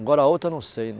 Agora, a outra, não sei.